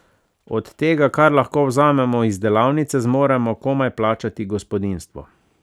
Od tega, kar lahko vzamemo iz delavnice, zmoremo komaj plačati gospodinjstvo.